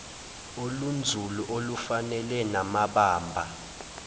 olunzulu olufanele namabamba